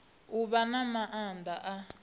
u vha na maanda a